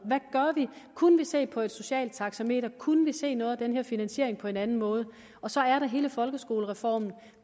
kunne vi se på et socialt taxameter kunne vi se noget af den her finansiering på en anden måde så er der hele folkeskolereformen